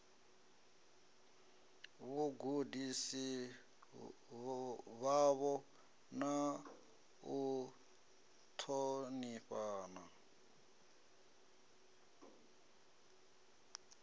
vhagudisi vhavho na u ṱhonifhana